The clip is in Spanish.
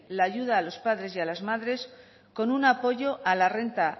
la ayuda a los padres y a las madres con un apoyo a la renta